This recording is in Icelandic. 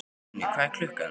Uni, hvað er klukkan?